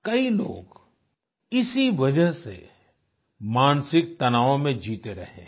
कई लोग इसी वजह से मानसिक तनावों में जीते रहे हैं